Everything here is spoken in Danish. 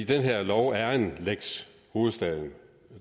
den her lov er en lex hovedstaden